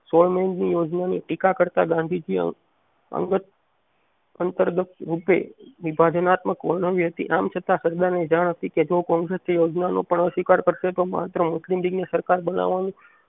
સોળ મે ની યોજના ને ટીકા કરતા ગાંધીજે અંગત અગતરૂપે વિભાજનાત્મક ઓળંગી હતી આમ છતાં સરદારને જાણ હતી કે જો કોગ્રેસ યોજનાનો અસ્વીકારકરશે તો માત્ર મુસ્લિમ લીગ ને સરકાર બનાવવા